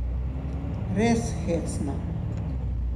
Res hecno.